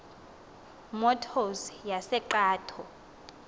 motors yase cato